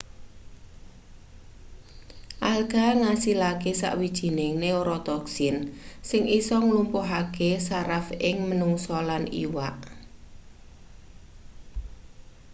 alga ngasilake sawijining neorotoxin sing isa nglumpuhake saraf ing menungsa lan iwak